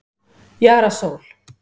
Jara Sól